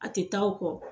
A tɛ taa o kɔ